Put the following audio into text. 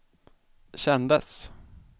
kändes